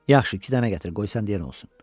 Yaxşı, iki dənə gətir, qoy sən deyən olsun.